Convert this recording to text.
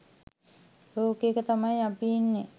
ලෝකයක තමයි අපි ඉන්නේ.